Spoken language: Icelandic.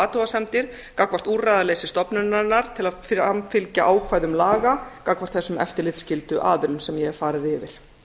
athugasemdir gagnvart úrræðaleysi stofnunarinnar til að framfylgja ákvæðum laga gagnvart þessum eftirlitsskyldu aðilum sem ég hef farið yfir